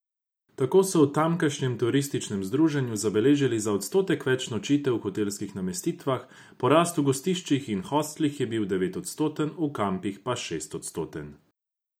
Tako so v tamkajšnjem turističnem združenju zabeležili za odstotek več nočitev v hotelskih namestitvah, porast v gostiščih in hostlih je bil devetodstoten, v kampih pa šestodstoten.